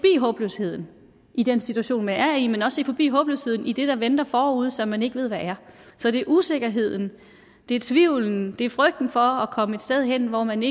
håbløsheden i den situation man er i men også se forbi håbløsheden i det der venter forude som man ikke ved hvad er så det er usikkerheden det er tvivlen det er frygten for at komme et sted hen hvor man